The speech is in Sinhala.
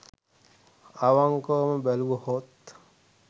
අවංකව බැලුවහොත්